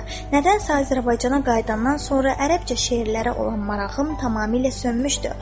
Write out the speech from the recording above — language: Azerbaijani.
Nədənsə Azərbaycana qayıdandan sonra ərəbcə şeirlərə olan marağım tamamilə sönmüşdü.